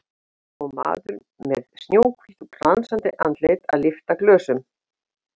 Pabbi hans og maður með snjóhvítt og glansandi andlit að lyfta glösum.